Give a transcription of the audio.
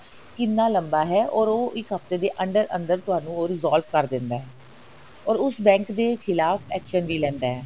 ਕਿੰਨਾ ਲੰਬਾ ਹੈ or ਉਹ ਇੱਕ ਹਫਤੇ ਦੇ ਅੰਦਰ ਅੰਦਰ ਤੁਹਾਨੂੰ ਉਹ resolve ਕਰ ਦਿੰਦਾ ਹੈ or ਉਸ bank ਦੇ ਖਿਲਾਫ਼ action ਵੀ ਲੈਂਦਾ ਹੈ